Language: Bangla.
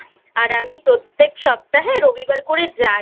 আর আমি প্রত্যেক সপ্তাহে রবিবার করে যাই।